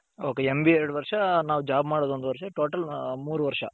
okay MBA ಎರಡು ವರುಷ ನಾವ್ job ಮಾಡದ್ ಒಂದು ವರ್ಷ total ಮೂರು ವರ್ಷ.